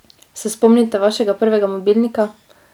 Se spomnite vašega prvega mobilnika?